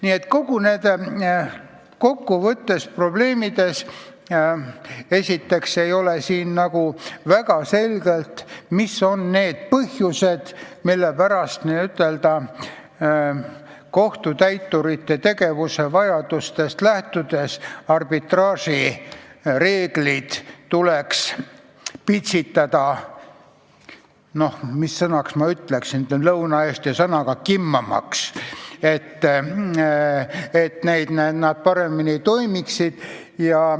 Nii et kokku võttes ei ole siin esiteks kuigi selge, mis on need põhjused, mille pärast n-ö kohtutäiturite vajadustest lähtudes arbitraaži reeglid tuleks pitsitada – mis sõna ma kasutaksin, ehk lõunaeesti sõna – "kimmämbäs", et need paremini toimiksid.